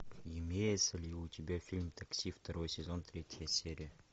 имеется ли у тебя фильм такси второй сезон третья серия